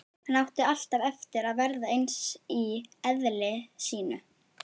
Hann átti alltaf eftir að verða eins í eðli sínu.